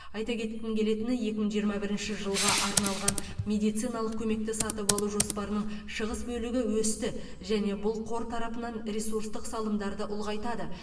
айта кеткім келетіні екі мың жиырма бірінші жылға арналған медициналық көмекті сатып алу жоспарының шығыс бөлігі өсті және бұл қор тарапынан ресурстық салымдарды ұлғайтады